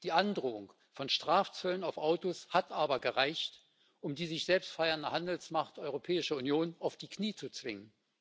Die Androhung von Strafzöllen auf Autos hat aber gereicht, um die sich selbst feiernde Handelsmacht Europäische Union auf die Knie zu zwingen.